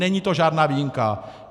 Není to žádná výjimka.